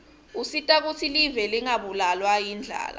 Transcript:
usita kutsi live lingabulawa yindlala